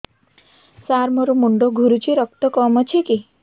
ସାର ମୋର ମୁଣ୍ଡ ଘୁରୁଛି ରକ୍ତ କମ ଅଛି କି